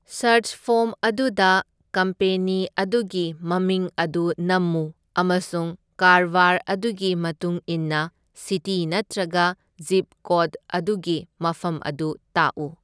Search form ꯑꯗꯨꯗ company ꯑꯗꯨꯒꯤ ꯃꯃꯤꯡ ꯑꯗꯨ ꯅꯝꯃꯨ ꯑꯃꯁꯨꯡ ꯀꯥꯔꯕꯥꯔ ꯑꯗꯨꯒꯤ ꯃꯇꯨꯡꯏꯟꯅ ꯁꯤꯇꯤ ꯅꯠꯇ꯭ꯔꯒ ꯖꯤꯞ ꯀꯣꯗ ꯑꯗꯨꯒꯤ ꯃꯐꯝ ꯑꯗꯨ ꯇꯥꯛꯎ꯫